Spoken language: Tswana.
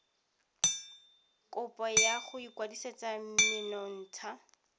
kopo ya go ikwadisetsa menontsha